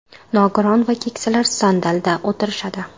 Nogiron va keksalar sandalda o‘tirishadi.